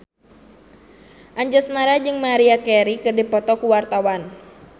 Anjasmara jeung Maria Carey keur dipoto ku wartawan